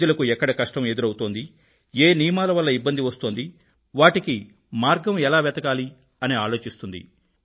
ప్రజలకు ఎక్కడ కష్టం ఎదురవుతోంది ఏ నియమాల వల్ల ఇబ్బంది వస్తోంది వాటికి మార్గం ఎలా వెతకాలి అని ఆలోచిస్తుంది